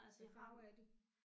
Hvad farve er de?